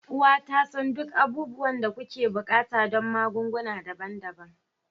Uwa ta san duk abubuwan da kuke buƙata don magunguna daban-daban.